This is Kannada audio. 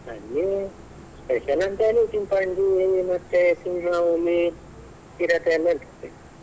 ಅಲ್ಲಿ special ಅಂತಾ ಅಂದ್ರೆ ಚಿಪಾಂಜಿ ಮತ್ತೆ ಸಿಂಹ, ಹುಲಿ ಚಿರತೆ ಎಲ್ಲಾ ಇರ್ತದೆ.